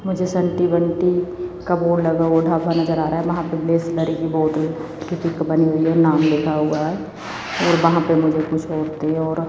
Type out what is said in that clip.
मुझे संटी बंटी का बोर्ड लगा ढका नजर आ रहा है वहां पे बिसलेरी की बोतल जो कि एक बनी हुई है नाम लिखा हुआ है और वहां पे कुछ औरतें और--